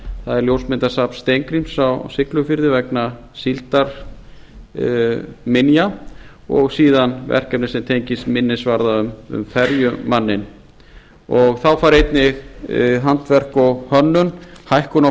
það er ljósmyndasafn steingríms á siglufirði vegna síldarminja og síðan verkefni sem tengist einnig varða um ferjumanninn þá fær einnig handverk og hönnun hækkun á